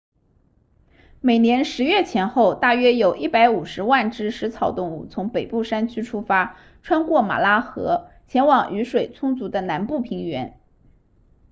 每年10月前后大约有150万只食草动物从北部山区出发穿过马拉河前往雨水充足的南部平原